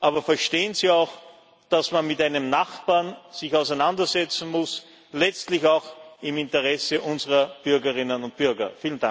Aber verstehen Sie auch, dass man sich mit einem Nachbarn auseinandersetzen muss, letztlich auch im Interesse unserer Bürgerinnen und Bürger.